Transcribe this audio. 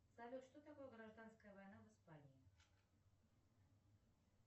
салют что такое гражданская война в испании